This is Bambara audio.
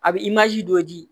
A bɛ don ji